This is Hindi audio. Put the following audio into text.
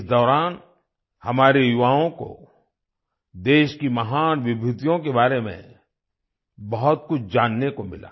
इस दौरान हमारे युवाओं को देश की महान विभूतियों के बारे में बहुत कुछ जानने को मिला